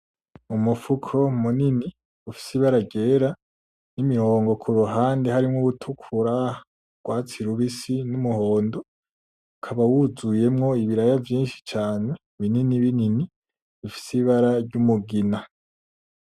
Umufuko munini ufise ibara ryera n'imirongo kuruhande harimo urutukura urwatsi rubisi n'umuhondo, ukaba wuzuyemo ibiraya vyinshi cane bininibinini bifise ibara ry'umugina.